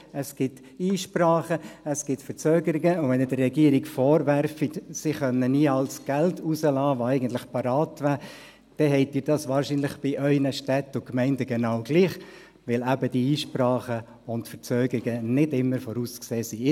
Es gibt Einsprachen, es gibt Verzögerungen, und wenn Sie der Regierung vorwerfen, sie könne nie all das Geld herauslassen, das eigentlich parat wäre, dann haben Sie dies bei Ihren Städten und Gemeinden wahrscheinlich genau gleich, weil eben die Einsprachen und Verzögerungen nicht immer vorauszusehen sind.